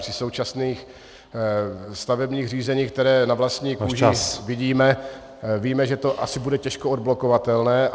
Při současných stavebních řízeních, která na vlastní kůži vidíme , víme, že to asi bude těžko odblokovatelné.